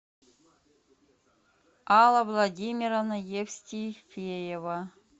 алла владимировна евстифеева